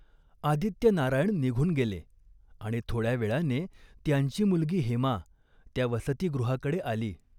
आदित्यनारायण निघून गेले आणि थोड्या वेळाने त्यांची मुलगी हेमा त्या वसतिगृहाकडे आली.